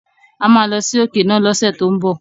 A máa lọ sí òkè náà lọ́sẹ̀ tó ń bọ̀.